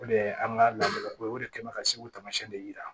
O de ye an ka laadalako ye o de kɛ mɛ ka segu tamasiyɛn de yira